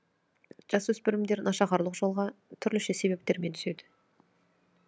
жасөспірімдер нашақорлық жолға түрліше себептермен түседі